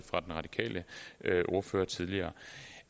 og den radikale ordfører tidligere